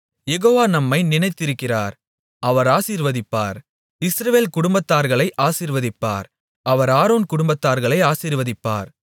யெகோவா நம்மை நினைத்திருக்கிறார் அவர் ஆசீர்வதிப்பார் இஸ்ரவேல் குடும்பத்தார்களை ஆசீர்வதிப்பார் அவர் ஆரோன் குடும்பத்தார்களை ஆசீர்வதிப்பார்